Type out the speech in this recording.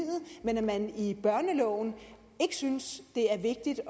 men at man i børneloven ikke synes det er vigtigt